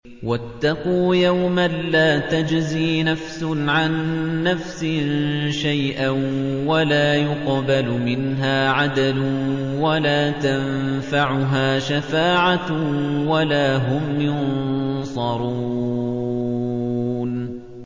وَاتَّقُوا يَوْمًا لَّا تَجْزِي نَفْسٌ عَن نَّفْسٍ شَيْئًا وَلَا يُقْبَلُ مِنْهَا عَدْلٌ وَلَا تَنفَعُهَا شَفَاعَةٌ وَلَا هُمْ يُنصَرُونَ